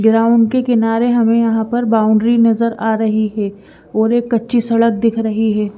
Ground के किनारे हमें यहां पर बाउंड्री नजर आ रही है और एक कच्ची सड़क दिख रही है।